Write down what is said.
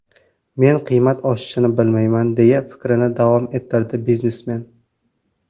Men qiymat oshishini bilmayman”, deya fikrini davom ettirdi biznesmen.